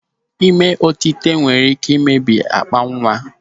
Ịme otite nwere ike ịmebi akpa nwa.